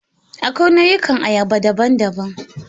Akwai nau'ikan ayaba daban-daban.